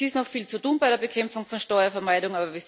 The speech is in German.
Es ist noch viel zu tun bei der Bekämpfung von Steuervermeidung.